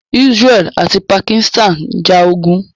Israeli ati Pakistan njà ogun.